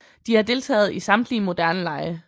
De har deltaget i samtlige moderne lege